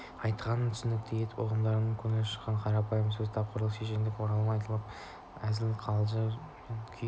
айтқанын түсінікті етіп ұғындыру көңілден шыққан қарапайым сөз тапқырлық шешендік орынды айтылған әзіл-қалжың ойын-күлкі ән-күй